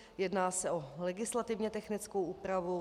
Jedná se o legislativně technickou úpravu.